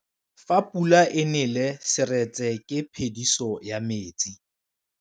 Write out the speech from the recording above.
Fa pula e nelê serêtsê ke phêdisô ya metsi.